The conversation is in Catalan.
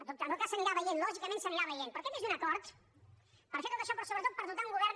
en tot cas s’anirà veient lògicament s’anirà veient però aquest és un acord per fer tot això però sobretot per dotar un govern